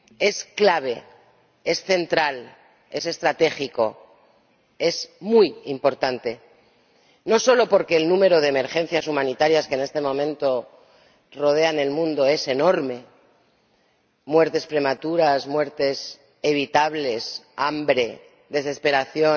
Es clave, es central, es estratégico y es muy importante, no solo porque el número de emergencias humanitarias que en este momento se dan en el mundo es enorme muertes prematuras, muertes evitables, hambre, desesperación